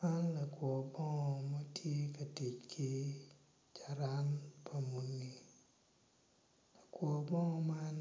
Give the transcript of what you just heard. Man lakwor bongo matye ka tic ki carani pa muni lakwor bongo man